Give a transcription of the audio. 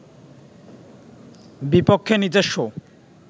বিপক্ষে নিজস্ব